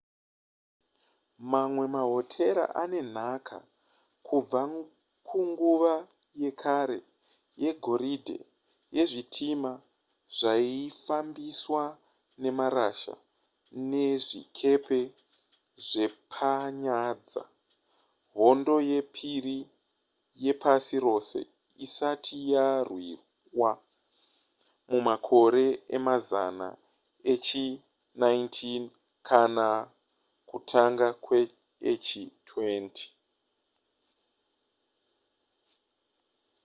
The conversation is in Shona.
mamwe mahotera ane nhaka kubva kunguva yekare yegoridhe yezvitima zvaifambiswa nemarasha nezvikepe zvepanyanza hondo yepiri yepasi rose isati yarwiwa mumakore emazana echi19 kana kutanga kweechi20